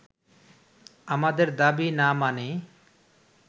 আমাদের দাবি না মানে